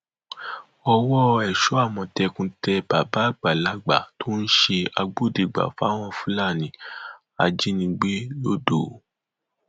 ọwọ èso àmọtẹkùn tẹ bàbá àgbàlagbà tó ń ṣe agbódegbà fáwọn fúlàní ajínigbé lodò